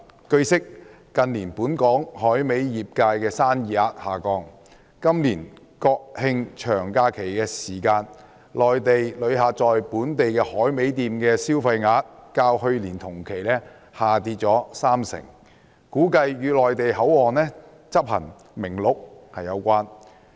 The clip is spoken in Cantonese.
據悉，近年本港海味業界的生意額下降，今年國慶長假期期間，內地旅客在本地海味店的消費額較去年同期下跌逾三成，估計與內地口岸執行《名錄》有關。